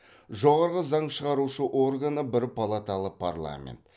жоғарғы заң шығарушы органы бір палаталы парламент